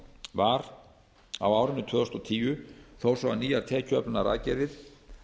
var á árinu tvö þúsund og tíu þó svo að nýjar tekjuöflunaraðgerðir